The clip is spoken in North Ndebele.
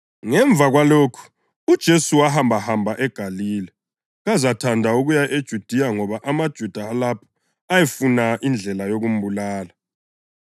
Ngemva kwalokhu uJesu wahambahamba eGalile, kazathanda ukuya eJudiya ngoba amaJuda alapho ayefuna indlela yokumbulala.